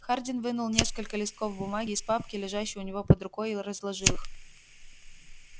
хардин вынул несколько листков бумаги из папки лежащей у него под рукой и разложил их